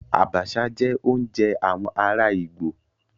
Àbàṣà jẹ́ oúnjẹ ará àwọn ìgbò.